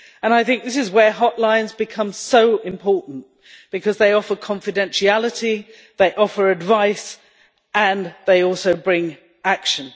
I think this is where hotlines become so important because they offer confidentiality, they offer advice and they also bring action.